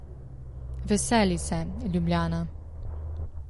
Veseli se, Ljubljana!